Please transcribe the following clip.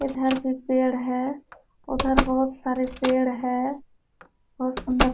उधर भी पेड़ हैं। उधर बोहोत सारे पेड़ हैं। बोहोत सुन्दर --